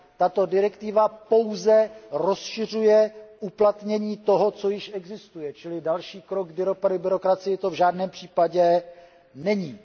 Tato direktiva pouze rozšiřuje uplatnění toho, co již existuje, čili další krok k byrokracii to v žádném případě není.